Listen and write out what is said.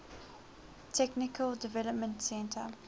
technical development center